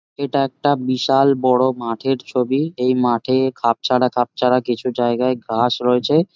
এটা একটা বিশাল বড়ো মাঠের ছবি এই মাঠে খাঁপছাড়া খাঁপছাড়া কিছু যায়গায় ঘাস রয়েছে।